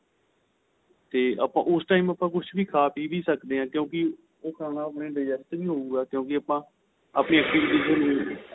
ਤੇ ਆਪਾ ਉਸ time ਆਪਾ ਕੁੱਛ ਵੀ ਖਾਂ ਪੀਹ ਵੀ ਸਕਦੇ ਆਂ ਕਿਉਂਕਿ ਖਾਣਾ ਆਪਣੇ digest ਵੀ ਹਉਗਾ ਕਿਉਂਕਿ ਆਪਾ ਆਪਣੀ activities ਤੇ